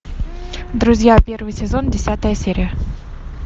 друзья первый сезон десятая серия